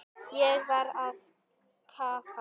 Ég var að kafna.